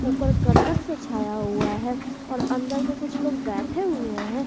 ऊपर करकट से छाया हुआ है और अंदर में कुछ लोग बैठे हुए हैं।